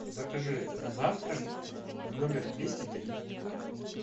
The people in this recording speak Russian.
закажи завтрак в номер двести три